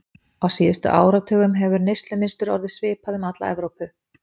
Á síðustu áratugum hefur neyslumynstur orðið svipað um alla Evrópu.